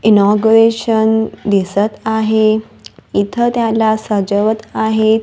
Inauguration दिसत आहे इथं त्याला सजवत आहेत.